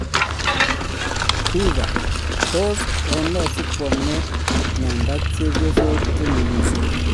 Pica: tos ene sikwome ng'enda chepyosok che nyigisen.